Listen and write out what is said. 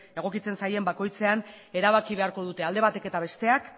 egokitzen zaien bakoitzean erabaki beharko dute alde batek eta besteak